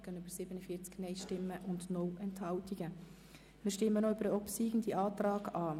Wir stimmen noch über den obsiegenden Antrag ab.